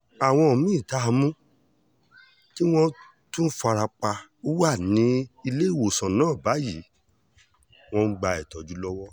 àwọn mí-ín tá a mú tí wọ́n tún fara pa wà níléèwòsàn náà báyìí wọ́n ń gba ìtọ́jú lọ́wọ́